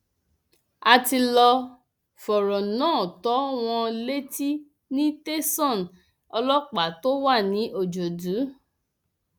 a ti lọọ fọrọ náà tó wọn létí ní tẹsán ọlọpàá tó wà ní ọjọdù